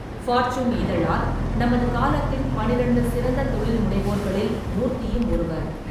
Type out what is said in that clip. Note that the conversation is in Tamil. ஃபார்ச்சூன் இதழால் நமது காலத்தின் பன்னிரெண்டு சிறந்த தொழில்முனைவோர்களில் மூர்த்தியும் ஒருவர்.